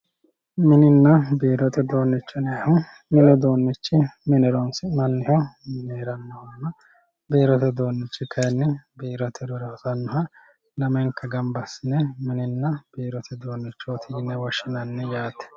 Mininna biirote uduunicho yineemmohu, mini uduunichi mine horonsi'nanniho mine heeranohonna biirote uduunichi kayinni biirote horora hosanoha lamenka gamba assine mininna biirote uduunichoti yine woshshinanni yaate.